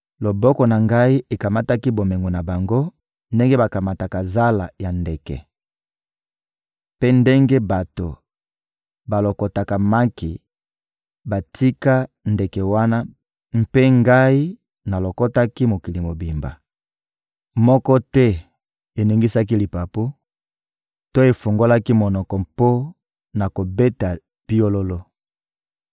Loboko na ngai ekamataki bomengo na bango ndenge bakamataka zala ya ndeke; mpe ndenge bato balokotaka maki batika, ndenge wana mpe ngai nalokotaki mokili mobimba: moko te eningisaki lipapu to efungolaki monoko mpo na kobeta piololo.›»